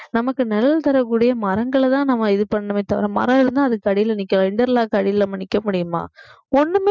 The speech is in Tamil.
நமக்கு நிழல் தரக்கூடிய மரங்களைதான் நம்ம இது பண்ணணுமே தவிர மரம் இருந்தா அதுக்கு அடியில நிக்கணும் interlock அடியில நம்ம நிற்க முடியுமா ஒண்ணுமே